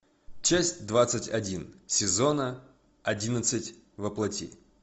часть двадцать один сезона одиннадцать во плоти